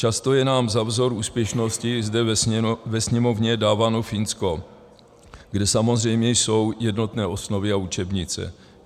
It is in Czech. Často je nám za vzor úspěšnosti zde ve Sněmovně dáváno Finsko, kde samozřejmě jsou jednotné osnovy a učebnice.